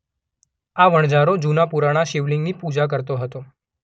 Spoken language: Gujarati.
આ વણઝારો જુના પુરાણા શિવલિંગની પૂજા કરતો હતો.